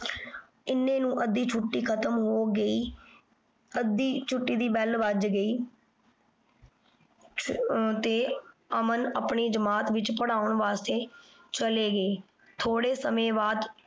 ਇਨਾਂ ਨੀ ਅਧਿ ਛੁਟੀ ਖਤਮ ਹੋ ਗਈ ਅਧਿ ਛੁਟੀ ਦੀ bell ਵਜ ਗਈ ਤੇ ਅਮਨ ਆਪਣੀ ਜਮਾਤ ਵਿਚ ਪਰ੍ਹਾਉਣ ਵਾਸਤੇ ਚਲੇ ਗਾਯ। ਥੋੜੇ ਸਮੇ ਬਾਅਦ